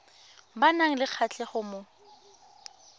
ba nang le kgatlhego mo